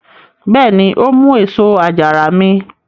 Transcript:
Bẹ́ẹ̀ni, ó mú èso àjàrà mi.